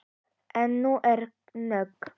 En nú er nóg!